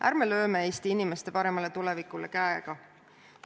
Ärme lööme Eesti inimeste paremale tulevikule käega!